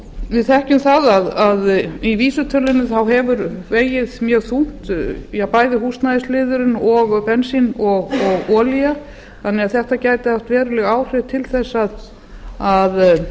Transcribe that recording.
við þekkjum það að í vísitölunni hefur vegið ég þungt bæði húsnæðisliðurinn og bensíns og olía þannig að þetta gæti haft veruleg áhrif til þess að